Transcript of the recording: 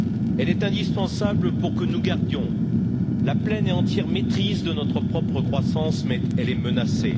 Elle est indispensable pour que nous gardions la pleine et entière maîtrise de notre propre croissance, mais elle est menacée.